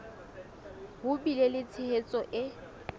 ho bile le tshehetso e